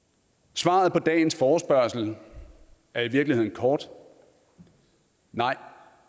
svaret på dagens forespørgsel er i virkeligheden kort nej